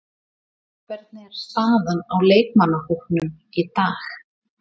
Hvernig er staðan á leikmannahópnum í dag?